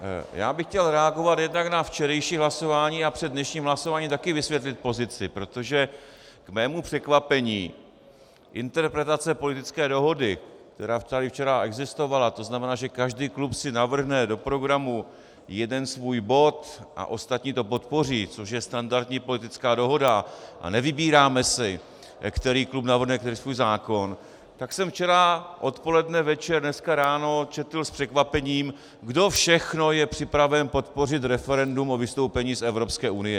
Já bych chtěl reagovat jednak na včerejší hlasování a před dnešním hlasováním také vysvětlit pozici, protože k mému překvapení interpretace politické dohody, která tady včera existovala, to znamená, že každý klub si navrhne do programu jeden svůj bod a ostatní to podpoří, což je standardní politická dohoda a nevybíráme si, který klub navrhne který svůj zákon, tak jsem včera odpoledne, večer, dneska ráno četl s překvapením, kdo všechno je připraven podpořit referendum o vystoupení z Evropské unie.